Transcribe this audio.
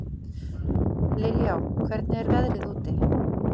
Liljá, hvernig er veðrið úti?